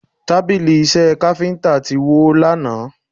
Tábìlì Iṣẹ́ káfíńtà ti wó lánàá